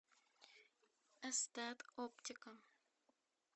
эстет оптика